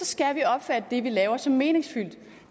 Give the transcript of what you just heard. skal vi opfatte det vi laver som meningsfyldt